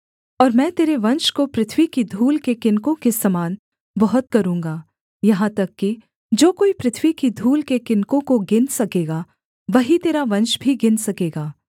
और मैं तेरे वंश को पृथ्वी की धूल के किनकों के समान बहुत करूँगा यहाँ तक कि जो कोई पृथ्वी की धूल के किनकों को गिन सकेगा वही तेरा वंश भी गिन सकेगा